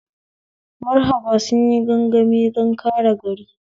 Marhaba sunyi gangami don kare gari